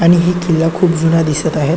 आणि ही किल्ला खूप जूना दिसत आहे.